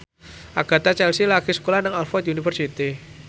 Agatha Chelsea lagi sekolah nang Oxford university